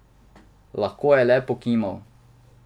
Lahko je le pokimal.